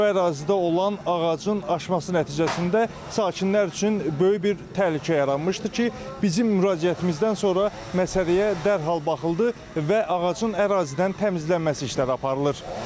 Bu ərazidə olan ağacın aşması nəticəsində sakinlər üçün böyük bir təhlükə yaranmışdı ki, bizim müraciətimizdən sonra məsələyə dərhal baxıldı və ağacın ərazidən təmizlənməsi işləri aparılır.